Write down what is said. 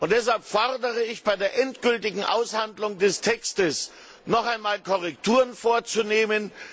Deshalb fordere ich, bei der endgültigen Aushandlung des Textes noch einmal Korrekturen vorzunehmen.